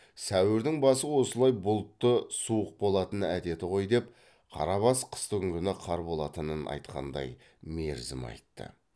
сәуірдің басы осылай бұлтты суық болатын әдеті ғой деп қарабас қыстыгүні қар болатынын айтқандай мерзім айтты